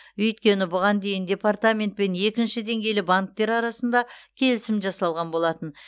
өйткені бұған дейін департамент пен екінші деңгейлі банктер арасында келісім жасалған болатын